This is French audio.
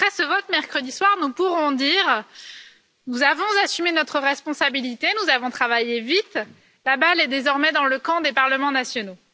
Après ce vote, mercredi soir, nous pourrons dire que nous avons assumé notre responsabilité, que nous avons travaillé vite et que la balle est désormais dans le camp des parlements nationaux.